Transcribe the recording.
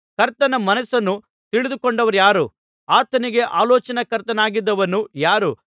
ಕರ್ತನ ಮನಸ್ಸನ್ನು ತಿಳಿದುಕೊಂಡವರಾರು ಆತನಿಗೆ ಆಲೋಚನಾಕರ್ತನಾಗಿದ್ದವನು ಯಾರು